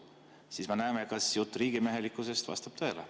Siis me näeme, kas jutt riigimehelikkusest vastab tõele.